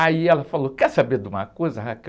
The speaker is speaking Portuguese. Aí ela falou, quer saber de uma coisa?